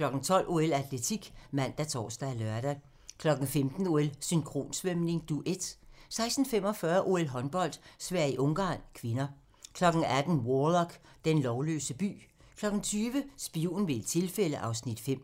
12:00: OL: Atletik ( man, tor, lør) 15:00: OL: Synkronsvømning, Duet 16:45: OL: Håndbold - Sverige-Ungarn (k) 18:00: Warlock - den lovløse by 20:00: Spion ved et tilfælde (Afs. 5)